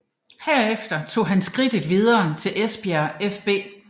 Herefter tog han skridtet videre til Esbjerg fB